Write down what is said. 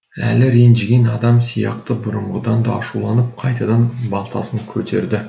әлі ренжіген адам сияқты бұрынғыдан да ашуланып қайтадан балтасын көтерді